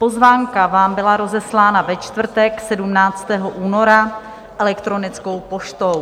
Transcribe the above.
Pozvánka vám byla rozeslána ve čtvrtek 17. února elektronickou poštou.